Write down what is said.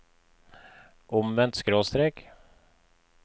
omvendt skråstrek